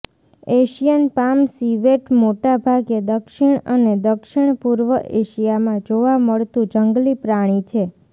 Asian palm civet મોટાભાગે દક્ષિણ અને દક્ષિણપૂર્વ એશિયામાં જોવા મળતું જંગલી પ્રાણી છે